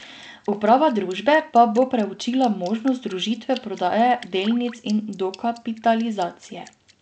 Uprava družbe pa bo preučila možnost združitve prodaje delnic in dokapitalizacije.